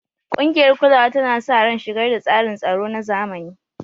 Ƙungiyar kulawa tana sa ran shigar da tsarin tsaro na zamani.